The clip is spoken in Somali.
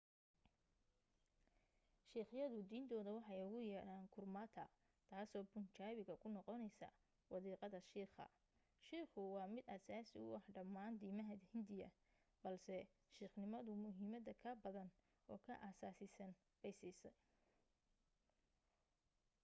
siikhyadu diintooda waxay ugu yeedhaan gurmata taasoo bunjaabiga ku noqonaysa wadiiqada shiikha”. shiikhu waa mid asaasi u ah dhammaan diiimaha hindiya balse siikhnimadu muhiimada ka badan oo ka asaasisan bay siisay